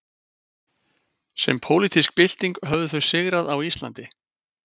Sem pólitísk bylting höfðu þau sigrað á Íslandi.